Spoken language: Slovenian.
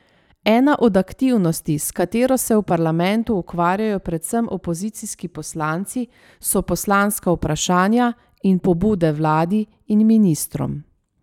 Ena od aktivnosti, s katero se v parlamentu ukvarjajo predvsem opozicijski poslanci, so poslanska vprašanja in pobude vladi in ministrom.